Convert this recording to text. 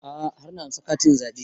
A'a har na ansa katin zaɓe